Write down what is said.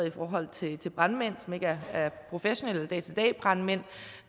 i forhold til brandmænd som ikke er professionelle dag til dag brandmænd